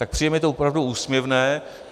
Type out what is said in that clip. Tak přijde mi to opravdu úsměvné.